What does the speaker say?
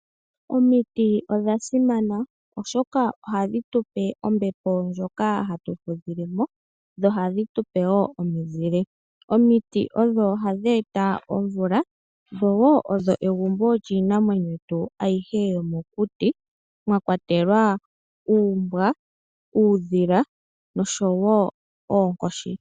Omiti odha simana, oshoka ohadhi tupe ombepo ndyoka hatu fudhilemo, dho ohadhi tupe wo omizile. Omiti odho hadhi eta omvula, dho odho egumbo lyiinamwenyo ayihe yomokuti, mwakawatelwa, uumbwa, uudhila, noshowo oonkoshi.